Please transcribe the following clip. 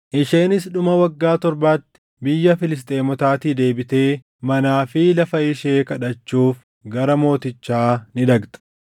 Isheenis dhuma waggaa torbaatti biyya Filisxeemotaatii deebitee manaa fi lafa ishee kadhachuuf gara mootichaa ni dhaqxe.